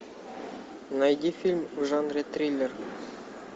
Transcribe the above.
найди фильм в жанре триллер